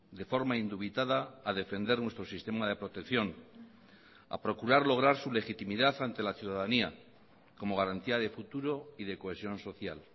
de forma indubitada a defender nuestro sistema de protección a procurar lograr su legitimidad ante la ciudadanía como garantía de futuro y de cohesión social